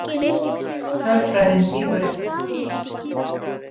Tölfræðin lýgur ekki.